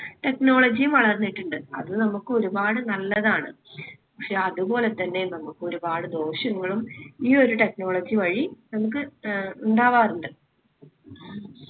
technology ഉം വളർന്നിട്ടിണ്ട് അത് നമ്മക്ക് ഒരുപാട് നല്ലതാണ് പക്ഷെ അത് പോലെത്തന്നെ നമ്മുക്ക് ഒരുപാട് ദോഷങ്ങളും ഈ ഒരു technology വഴി നമ്മുക്ക് ഏർ ഉണ്ടാവാറുണ്ട്.